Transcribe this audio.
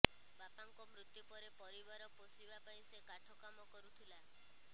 ବାପାଙ୍କ ମୃତ୍ୟୁ ପରେ ପରିବାର ପୋଷିବା ପାଇଁ ସେ କାଠ କାମ କରୁଥିଲା